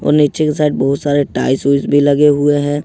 नीचे के साइड बहुत सारे टाइल्स ओइल्स भी लगे हुए हैं।